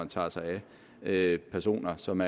tager sig af personer som